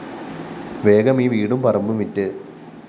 വേഗമീ വീടും പറമ്പും വിറ്റ്‌